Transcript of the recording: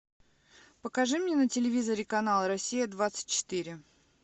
покажи мне на телевизоре канал россия двадцать четыре